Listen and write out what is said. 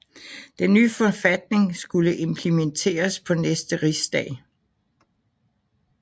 Den ny forfatning skulle implementeres på næste rigsdag